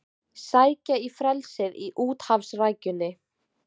Sækja í frelsið í úthafsrækjunni